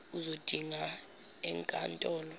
uzodinga enk antolo